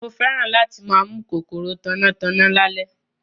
Mo fẹ́ràn láti máa mú kòkòrò tanná tanná lálẹ́